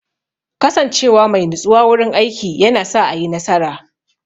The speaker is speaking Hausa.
Kasance wa mai natsuwa wurin aiki yana sa a yi nasara.